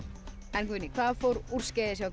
en Guðný hvað fór úrskeiðis hjá